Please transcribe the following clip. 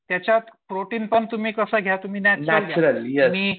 त्याच्यात प्रोटीन पण तुम्ही कसं घ्या नॅच्युरल